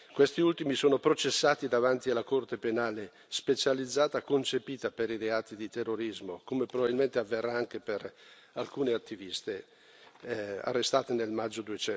Questi ultimi sono processati davanti alla Corte penale specializzata, concepita per i reati di terrorismo, come probabilmente avverrà anche per alcune attiviste arrestate nel maggio